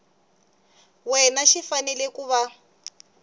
wena xi fanele ku va